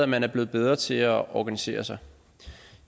man er blevet bedre til at organisere sig